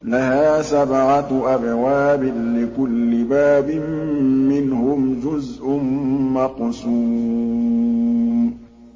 لَهَا سَبْعَةُ أَبْوَابٍ لِّكُلِّ بَابٍ مِّنْهُمْ جُزْءٌ مَّقْسُومٌ